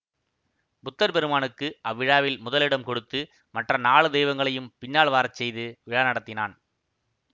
புத்தர் பெருமானுக்கு அவ்விழாவில் முதல் இடம் கொடுத்து மற்ற நாலு தெய்வங்களையும் பின்னால் வரச்செய்து விழா நடத்தினான்